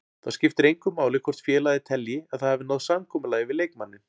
Þá skiptir engu máli hvort félagið telji að það hafi náð samkomulagi við leikmanninn.